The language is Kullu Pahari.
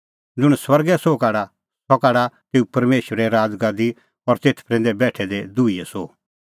ज़ुंण स्वर्गे सोह काढा सह काढा तेऊ परमेशरे राज़गादी और तेथ प्रैंदै बेठै दै दुहीए सोह